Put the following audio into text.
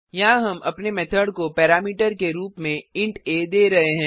यहाँ हम अपने मेथड को पैरामीटर के रुप में इंट आ दे रहे हैं